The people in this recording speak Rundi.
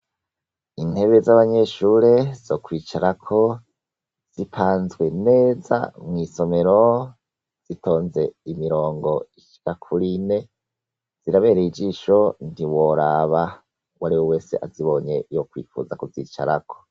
Intebe z'abanyeshure zo kwicarako zipanzwe neza mwisomero zitonze imirongo ishika kuri ine zirabereye ijisho ntiworaba uwariwe wese azibonye yokwifuza kuzicarako.